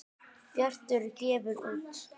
Bjartur gefur út.